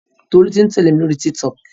Tolú ti ń tẹ̀lé mi lóri Tiktok.